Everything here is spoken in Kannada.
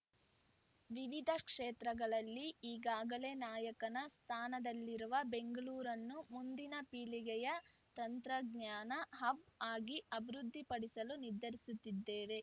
ವಿವಿಧ ಕ್ಷೇತ್ರಗಳಲ್ಲಿ ಈಗಾಗಲೇ ನಾಯಕನ ಸ್ಥಾನದಲ್ಲಿರುವ ಬೆಂಗಳೂರನ್ನು ಮುಂದಿನ ಪೀಳಿಗೆಯ ತಂತ್ರಜ್ಞಾನ ಹಬ್‌ ಆಗಿ ಅಭಿವೃದ್ದಿಪಡಿಸಲು ನಿರ್ಧರಿಸಿದ್ದೇವೆ